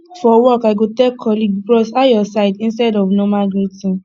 for work i go tell colleague bros how your side instead of normal greeting